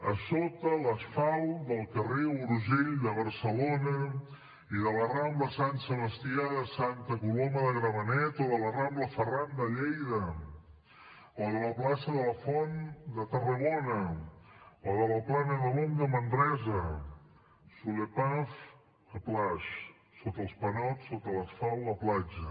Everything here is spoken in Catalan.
a sota l’asfalt del carrer urgell de barcelona i de la rambla sant sebastià de santa coloma de gramenet o de la rambla ferran de lleida o de la plaça de la font de tarragona o de la plana de l’om de manresa sous les pavés la plage sota els panots sota l’asfalt la platja